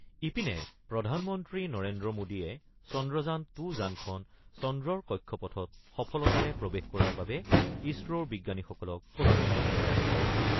ইপিনে, প্ৰধানমন্ত্ৰী নৰেন্দ্ৰ মোডীয়ে চন্দ্ৰযান টু যানখন চন্দ্ৰৰ কক্ষপথত সফলতাৰে প্ৰৱেশ কৰাৰ বাবে ইছৰ'ৰ বিজ্ঞানীসকলক অভিনন্দন জনাইছে।